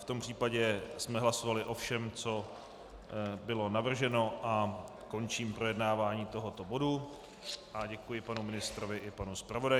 V tom případě jsme hlasovali o všem, co bylo navrženo, a končím projednávání tohoto bodu a děkuji panu ministrovi i panu zpravodaji.